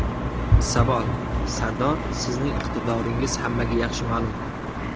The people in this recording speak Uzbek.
Savol: Sardor, sizning iqtidoringiz hammaga yaxshi ma’lum.